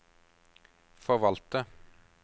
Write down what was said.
forvalter